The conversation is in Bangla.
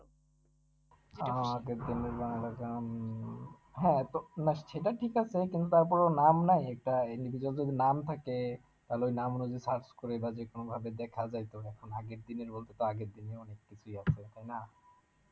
আর আগেরদিনের গানের কাছে আহ উম হ্যাঁ তো না সেটা ঠিক আছে কিন্তু তারপরেও নাম নাই একটা এমনি কিছু নাম থাকে তাহলে ওই নাম গুলো যদি search করে বা যেকোনোভাবে দেখা যাইতো, এখন আগের দিনের বলতে তো আগের দিনের অনেক কিছুই আছে তাই না?